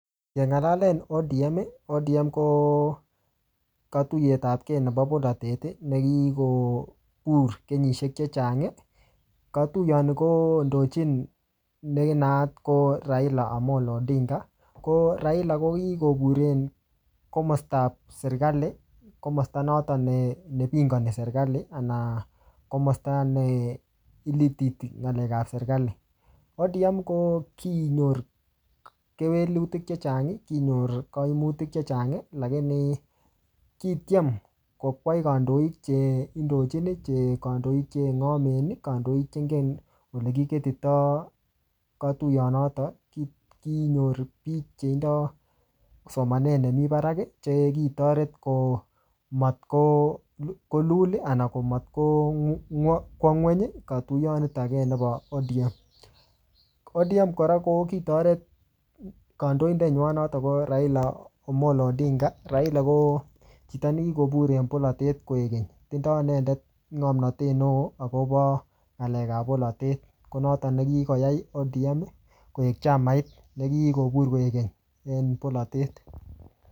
Keng'alalen ODM, ODM ko katuyetapke nebo bolotet, nekikobur kenyisiek chechang. Katuyot ni kondochin ne naat ko Raila Amollo Odinga. Ko Raila ko kikoburen komastap serikali, komasta notok ne-ne pingani serikali, anan komasta ne ilititi ng'alek ap serikali. ODM ko kinyor kewelutik chechang, kinyor kaimutik chechang lakini kitiem kokwei kandoik che indochin, che kandoik che ng'omen, kandoik che ingen ole kiketoi katuyot notok. Kinyor biik che tindoi somanet nemiii barak, che kitoret ko matkolul, ana ko matko matkwaa ng'uny katuyanet nebo ODM. ODM ko ki oret kandoidet nywaa , notok ko Raila Amollo Odinga. Raila ko chito nekikobur en bolotet koek keny. Tindoi inendet ngomnotet neoo, akobo nga'lek ap bolotet. Ko notok ne kikoyai ODM koek chamait ne kikobur koek keny en bolotet